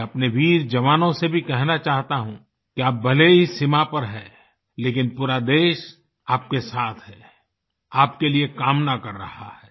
मैं अपने वीर जवानों से भी कहना चाहता हूँ कि आप भले ही सीमा पर हैं लेकिन पूरा देश आपके साथ हैं आपके लिए कामना कर रहा है